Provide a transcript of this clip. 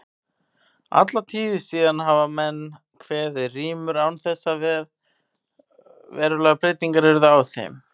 Alla tíð síðan hafa menn kveðið rímur án þess að verulegar breytingar yrðu á þeim.